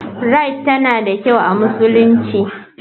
Rite tana da kyau a musulunci.